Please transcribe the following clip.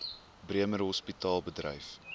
bremer hospitaal bedryf